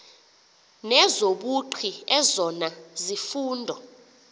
nezobugqi ezona zifundo